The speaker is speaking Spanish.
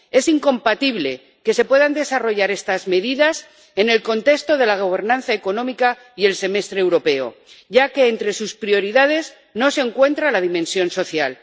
Es incompatible que se puedan desarrollar estas medidas en el contexto de la gobernanza económica y el Semestre Europeo, ya que entre sus prioridades no se encuentra la dimensión social.